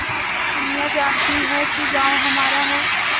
दुनिया जानती है कि गॉँव हमारा है